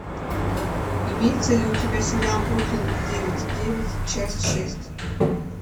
имеется ли у тебя сериал бруклин девять девять часть шесть